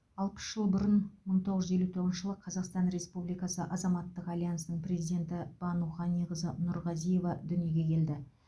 алпыс жыл бұрын мың тоғыз жүз елу тоғызыншы жылы қазақстан республикасы азаматтық альянсының президенті бану ғаниқызы нұрғазиева дүниеге келді